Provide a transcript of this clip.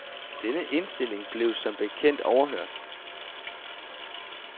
Denne indstilling blev som bekendt overhørt.